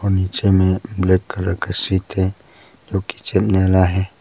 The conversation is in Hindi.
पीछे में ब्लैक कलर का सीट है जो कि चलने वाला है।